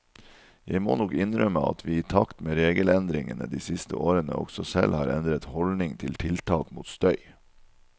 Jeg må nok innrømme at vi i takt med regelendringene de siste årene også selv har endret holdning til tiltak mot støy.